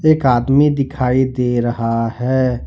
एक आदमी दिखाई दे रहा है।